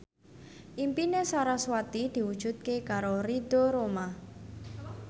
impine sarasvati diwujudke karo Ridho Roma